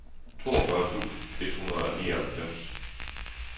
toogfyrre tusind et hundrede og nioghalvfems